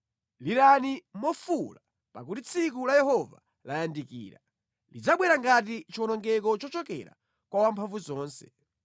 Lirani mofuwula, pakuti tsiku la Yehova layandikira; lidzabwera ngati chiwonongeko chochokera kwa Wamphamvuzonse.